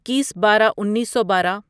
اکیس بارہ انیسو بارہ